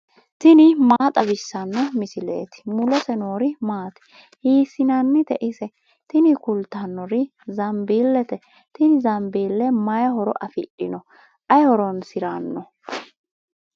tini maa xawissanno misileeti ? mulese noori maati ? hiissinannite ise ? tini kultannori zambiilete. tini zambiile may horo afidhino? ayi horoonsiranno.